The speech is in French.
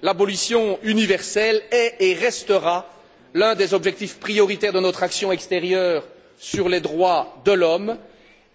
L'abolition universelle est et restera l'un des objectifs prioritaires de notre action extérieure sur les droits de l'homme